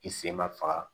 I sen ma faga